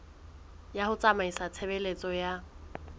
ya ho tsamaisa tshebeletso ya